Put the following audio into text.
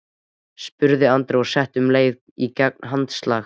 spurði Andri og setti um leið í gang hanaslag.